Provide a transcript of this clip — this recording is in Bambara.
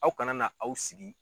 Aw kana na aw sigi